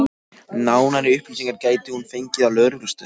Nánari upplýsingar gæti hún fengið á lögreglustöðinni.